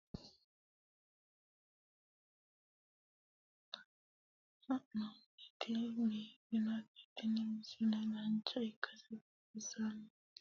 misile tini aleenni nooti lowo horonna lowo tiro afidhinote yaa dandiinanni konnira danchu kaameerinni haa'noonnite biiffannote tini misile dancha ikkase buunxanni